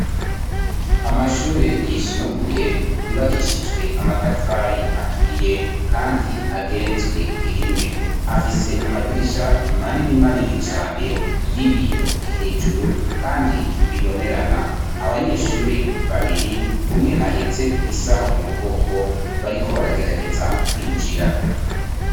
Amashure yisumbuye yubakishijwe amatafari aturiye kandi ageretswe rimwe. Afise amadirisha manini manini cane y'ibiyo hejuru kandi bibonerana, abanyeshure babiri umwe ahetse isaho mu mugongo bariko baragerageza kwinjira.